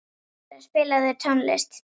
Kendra, spilaðu tónlist.